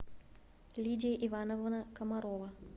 лидия ивановна комарова